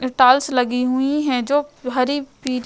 लगी हुई हैं जो हरी पील --